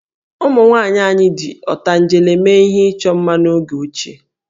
Ụmụnwaanyị anyị ji ọtanjele mee ihe ịchọ mma n'oge ochie